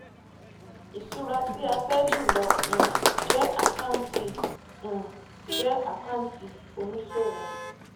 ìṣura tí a fẹ jùlọ um jẹ akántì um jẹ akántì oníṣòwò